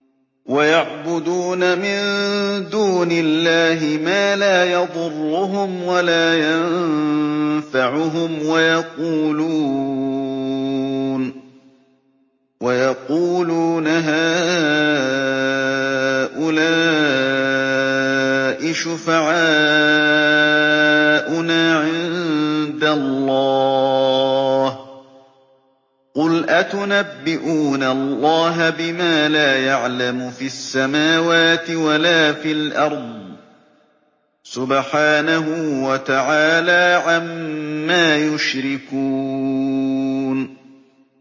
وَيَعْبُدُونَ مِن دُونِ اللَّهِ مَا لَا يَضُرُّهُمْ وَلَا يَنفَعُهُمْ وَيَقُولُونَ هَٰؤُلَاءِ شُفَعَاؤُنَا عِندَ اللَّهِ ۚ قُلْ أَتُنَبِّئُونَ اللَّهَ بِمَا لَا يَعْلَمُ فِي السَّمَاوَاتِ وَلَا فِي الْأَرْضِ ۚ سُبْحَانَهُ وَتَعَالَىٰ عَمَّا يُشْرِكُونَ